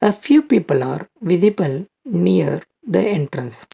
a few people are visible near the entrance.